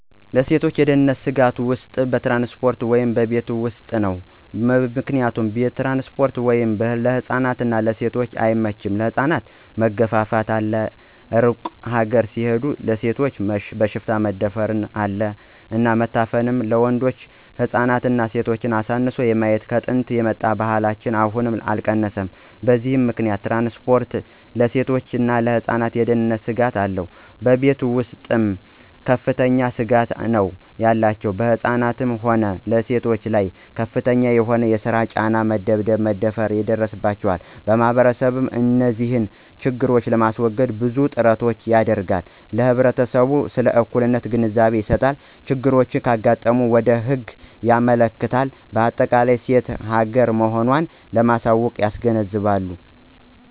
ለሴቶች የደህንነት ስጋቶች ውስጥ በትራንስፖርት ወይም በቤት ውስጥ ነው። ምክንያቱም ትራንስፖርት ወስጥ ለህፃናት እና ለሴቶች አይመቸም ለህፃናት መገፍፍት አለ እሩቅ ሀገር ሲሆድ ለሴቶች በሽፍታ መደፍር አለ እና መታፈን አለ ወንዶች ህፃናትና ሴቶችን አሳንሶ የማየት ከጥንት የመጣ ባህላችን አሁንም አልቀነሰም በዚህ ምከንያት ትራንስፖርት ለሴቶችና ለህፃናት የደህነንት ስጋት አለው። በቤተ ውስጥም ከፍተኛ ስጋት ነው ያላቸው በህፃናትም ሆነ በሴቶች ላይ ከፍተኛ የሆነ የሰራ ጫና፣ መደብደብ፣ መደፈራ ይደርስባቸዋል። ማህበረሰቡ እንዚህን ችግሮች ለማሰወገድ ብዙ ጥራቶችን ያደረጋል ለህብረተሰቡ ስለ እኩልነት ግንዛቤ ይሰጣል፣ ችግሮች ካጋጠሙ ወደ ህግ ያመለክታል በአጠቃላይ ሴት ሀገራ መሆኖን ለማያውቁት ያስገነዝባሉ።